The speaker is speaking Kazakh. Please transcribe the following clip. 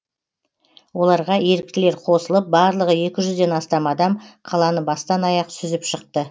оларға еріктілер қосылып барлығы екі жүзден астам адам қаланы бастан аяқ сүзіп шықты